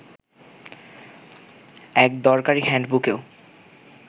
এক দরকারি হ্যান্ডবুকেও